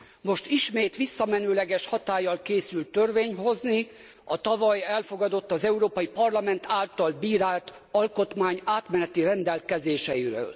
Most ismét visszamenőleges hatállyal készül törvényt hozni a tavaly elfogadott, az Európai Parlament által bírált alkotmány átmeneti rendelkezéseiről.